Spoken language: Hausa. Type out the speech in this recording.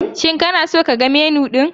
Shin kana so ka ga Menu ɗin?